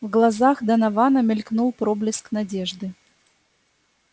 в глазах донована мелькнул проблеск надежды